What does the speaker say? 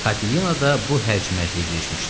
Katilyena da bu hərc-mərcliyə girişmişdi.